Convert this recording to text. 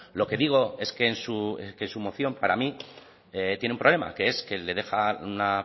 lo que digo es que su moción para mí tiene un problema que es que le deja una